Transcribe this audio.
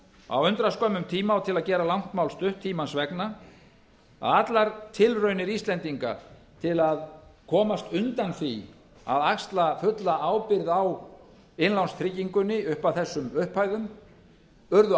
á undraskömmum tíma og til að gera langt mál stutt tímans vegna að allar tilraunir íslendinga til að komast undan því að axla fulla ábyrgð á innlánstryggingunni upp að þessum upphæðum urðu